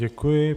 Děkuji.